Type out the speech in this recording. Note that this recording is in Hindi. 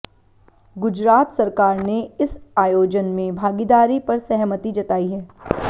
गुजरात सरकार ने इस आयोजन में भागीदारी पर सहमति जताई है